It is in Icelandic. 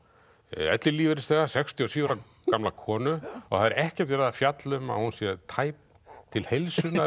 ellilífeyrisþega sextíu og sjö ára gamla konu og það er ekkert verið að fjalla um að hún sé tæp til heilsunnar